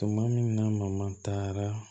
Tuma min na mama taara